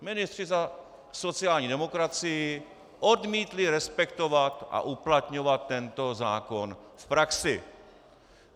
Ministři za sociální demokracii odmítli respektovat a uplatňovat ten zákon v praxi.